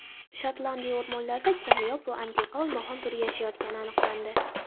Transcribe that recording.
Shotlandiya o‘rmonlarida kamyob va antiqa olmaxon turi yashayotgani aniqlandi.